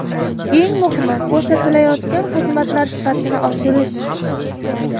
Eng muhimi ko‘rsatilayotgan xizmatlar sifatini oshirish.